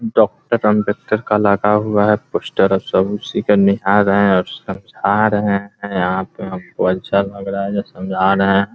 Doctor Ambedkar का लगा हुआ है पोस्टर अब सब उसी को निहार रहे हैं और समझा रहे हैं यहाँ पे हमको अच्छा लग रहा है जो समझा रहे हैं ।